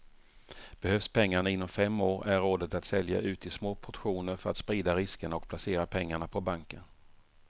Behövs pengarna inom fem år är rådet att sälja ut i små portioner för att sprida riskerna och placera pengarna på banken.